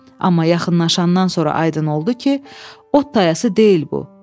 Amma yaxınlaşandan sonra aydın oldu ki, ot tayası deyil bu.